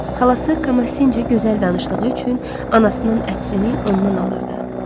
Xalası Kamasinə gözəl danışdığı üçün anasının ətrini ondan alırdı.